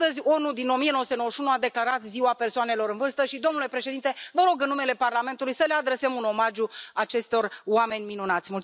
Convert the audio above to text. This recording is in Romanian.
Astăzi, ONU din 1991 a declarat Ziua persoanelor în vârstă și, domnule președinte, vă rog, în numele Parlamentului, să le adresăm un omagiu acestor oameni minunați.